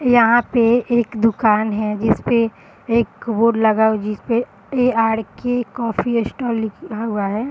यहाँ पे एक दुकान है जिसपे एक बोर्ड लगा है। जिसपे ए.आर.के. कॉफ़ी अ स्टाल लिखा हुआ है।